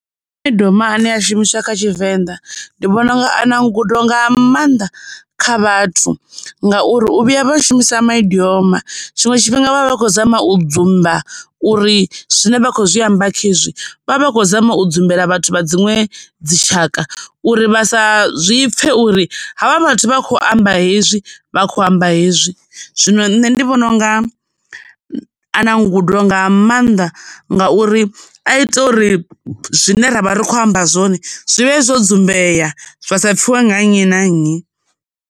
Maidioma ane a shumiswa kha tshivenḓa ndi vhona unga a na ngudo nga maanḓa kha vhathu, ngauri u vhuya vha shumisa maidioma tshiṅwe tshifhinga vha vha khou zama u dzumba uri zwine vha khou zwi amba khezwi vha vha khou zama u humbela vhathu vha dziṅwe dzitshaka uri vha sa zwi pfhe uri havha vhathu vha kho amba hezwi vha kho amba hezwi. Zwino nṋe ndi vhona unga a na ngudo nga maanḓa ngauri a ita uri zwine ra vha ri khou amba zwone zwi vhe hezwo dzumbei zwa sa pfiwe nga nnyi na nnyi.